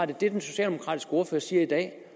den socialdemokratiske ordfører siger i dag